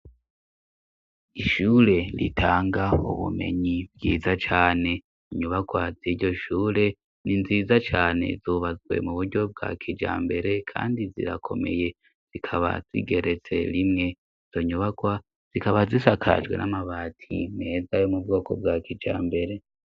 Ishure ritanga ubumenyi bwiza cane. Inyubakwa z'iryo shure ni nziza cyane zubazwe mu buryo bwa kija mbere kandi zirakomeye zikaba zigeretse rimwe zonyubakwa zikaba zisakajwe n'amabati meza yo mu bwoko bwa kija mbere.